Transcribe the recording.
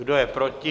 Kdo je proti?